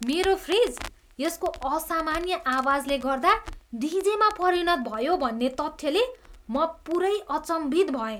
मेरो फ्रिज यसको असामान्य आवाजले गर्दा डिजेमा परिणत भयो भन्ने तथ्यले म पुरै अचम्भित भएँ!